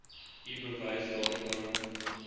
u bewys daarvan